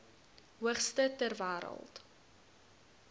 hoogste ter wêreld